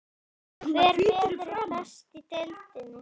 Hver verður best í deildinni?